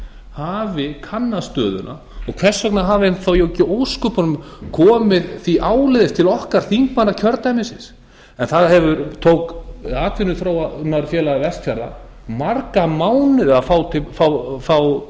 hafi kannað stöðuna og hvers vegna hafi hann þá ekki í ósköpunum komið því áleiðis til okkar þingmanna kjördæmisins en það tók atvinnuþróunarfélag vestfjarða marga mánuði að fá